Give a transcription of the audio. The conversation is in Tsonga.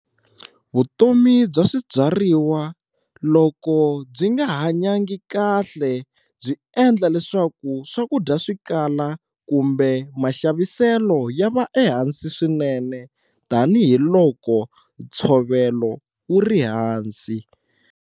Vutomi bya swibyariwa loko byi nga hanyangi kahle byi endla leswaku swakudya swi kala kumbe maxaviselo ya va ehansi swinene tanihiloko ntshovelo wu ri hansi.